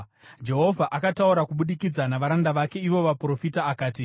Jehovha akataura kubudikidza navaranda vake ivo vaprofita akati,